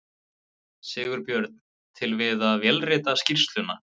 Sigurbjörn til við að vélrita skýrsluna.